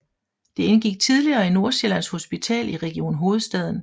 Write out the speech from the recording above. Det indgik tidligere i Nordsjællands Hospital i Region Hovedstaden